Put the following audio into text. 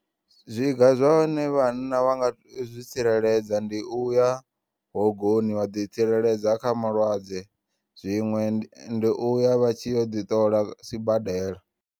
Zwiga zwine vhanna wanga zwi tsireledza ndi uya hogoni wa ḓi tsireledza kha malwadze zwiṅwe ndi uya vha tshi yo ḓiṱola sibadela.